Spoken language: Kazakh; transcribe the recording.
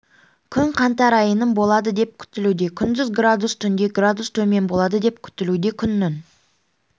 күн қаңтар айының болады деп күтілуде күндіз градус түнде градус төмен болады деп күтілуде күннің